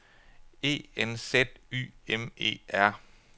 E N Z Y M E R